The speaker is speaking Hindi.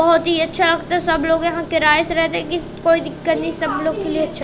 बहोत ही अच्छा सब लोग यहां किराए से रहते की कोई दिक्कत नहीं सब लोग के लिए अच्छा--